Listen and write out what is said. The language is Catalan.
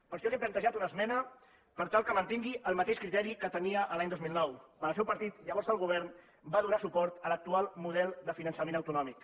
per això li hem plantejat una esmena per tal que mantingui el mateix criteri que tenia l’any dos mil nou quan el seu partit llavors al govern va donar suport a l’actual model de finançament autonòmic